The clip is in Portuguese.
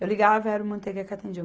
Eu ligava, era o Manteiga que atendia.